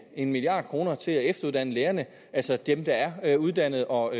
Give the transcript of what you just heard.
en milliard kroner til at efteruddanne lærerne altså dem der er uddannet og